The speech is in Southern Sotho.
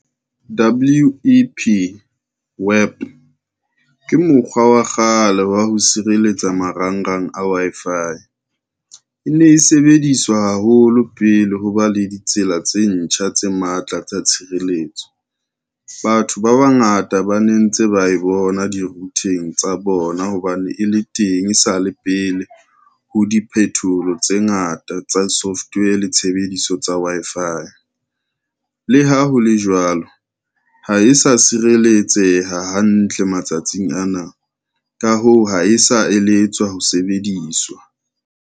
W_E_P web ke mokgwa wa kgale wa ho sireletsa marangrang a Wi-Fi, e ne e sebediswa haholo pele ho ba le ditsela tse ntjha tse matla tsa tshireletso. Batho ba bangata ba ne ntse ba e bona di-router-ng tsa bona hobane e le teng e sa le pele ho diphethoho tse ngata tsa software le tshebediso tsa Wi-Fi. Le ha ho le jwalo, ha e sa sireletseha hantle matsatsing ana, ka hoo, ha e sa eletswa ho sebediswa.